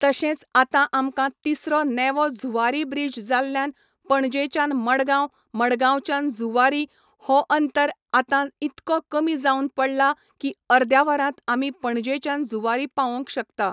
तशेंच आतां आमकां तिसरो नेवो जुवारी ब्रिज जाल्ल्यान पणजेच्यान मडगांव मडगांवच्यान जुवारी हो अंतर आतां इतको कमी जावन पडला की अर्द्या वरांत आमी पणजेच्यान जुवारी पावोंक शकता